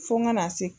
Fo ka na se